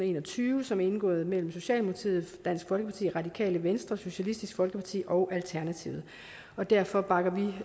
en og tyve som er indgået mellem regeringen socialdemokratiet dansk folkeparti radikale venstre socialistisk folkeparti og alternativet og derfor bakker vi